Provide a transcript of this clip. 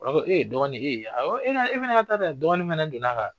E ye dɔgɔnin e ye e fana ka ta'a lajɛ dɔgɔnin fana donna ka